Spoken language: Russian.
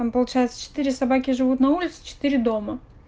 там получается четыре собаки живут на улице четыре дома